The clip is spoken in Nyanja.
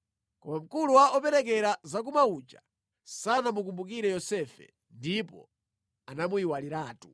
Koma mkulu wa operekera zakumwa uja sanamukumbukire Yosefe ndipo anamuyiwaliratu.